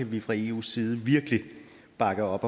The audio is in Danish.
vi fra eus side virkelig kan bakke op